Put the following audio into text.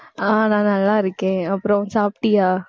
ஆஹ் நான், நல்லா இருக்கேன் அப்புறம் சாப்பிட்டியா